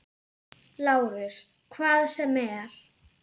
LÁRUS: Hvað sem er.